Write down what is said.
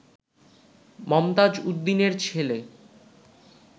মমতাজ উদ্দিনের ছেল